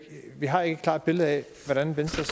har et klart billede af hvordan venstres